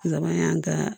Laban y'an ka